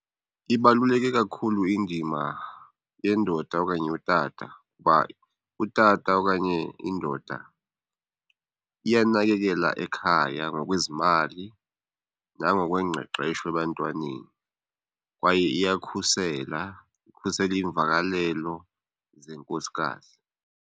Ibaluleke kakhulu indima yendoda okanye utata kuba utata okanye indoda iyanakekela ekhaya ngokwezimali nangokwengqeqesho ebantwaneni, kwaye iyakhusela. Ikhusele iimvakalelo zenkosikazi.